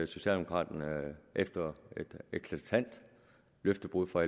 socialdemokraterne efter et eklatant løftebrud fra